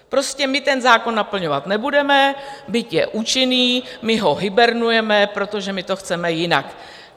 Prostě my ten zákon naplňovat nebudeme, byť je účinný, my ho hibernujeme, protože my to chceme jinak.